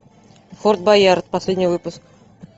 форт боярд последний выпуск